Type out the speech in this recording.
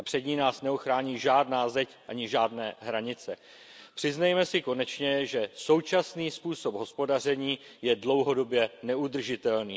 Před ní nás neochrání žádná zeď ani žádné hranice. Přiznejme si konečně, že současný způsob hospodaření je dlouhodobě neudržitelný.